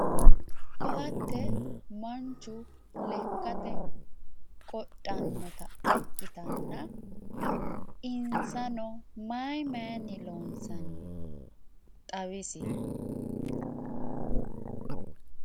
Ko`ate manchu lekate qodhanota ikitanna insano mayi mayini loonsani xawisi?